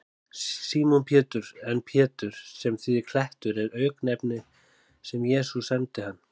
Símon Pétur, en Pétur, sem þýðir klettur, er auknefni sem Jesús sæmdi hann.